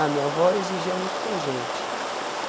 A minha avó exigia muito da gente.